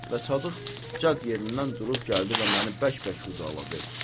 və Sadıq cad yerindən durub gəldi və məni bərk-bərk qucaqladı.